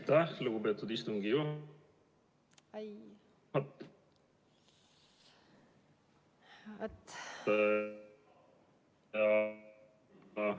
Aitäh, lugupeetud istungi juhataja!